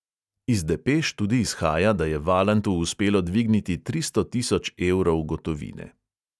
Iz depeš tudi izhaja, da je valantu uspelo dvigniti tristo tisoč evrov gotovine.